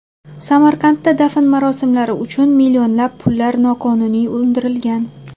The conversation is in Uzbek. Samarqandda dafn marosimlari uchun millionlab pullar noqonuniy undirilgan.